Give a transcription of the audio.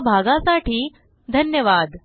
सहभागासाठी धन्यवाद